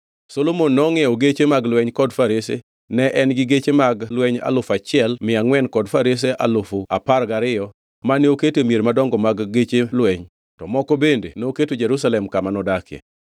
Solomon nongʼiewo geche mag lweny kod farese; ne en gi geche mag lweny alufu achiel mia angʼwen kod farese alufu apar gariyo mane oketo e mier madongo mag geche lweny to moko bende noketo Jerusalem kama nodake.